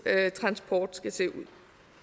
transport skal se ud